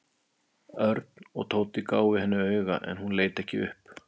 Örn og Tóti gáfu henni auga en hún leit ekki upp.